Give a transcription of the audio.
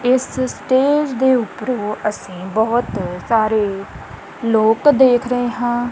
ਇਸ ਸਟੇਜ ਦੇ ਉੱਪਰੋਂ ਅਸੀਂ ਬਹੁਤ ਸਾਰੇ ਲੋਕ ਦੇਖ ਰਹੇ ਹਾਂ।